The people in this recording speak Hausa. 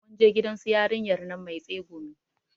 Mun je gidan su yarinyar nan mai tsegumi